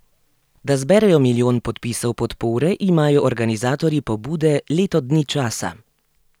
Da zberejo milijon podpisov podpore, imajo organizatorji pobude leto dni časa.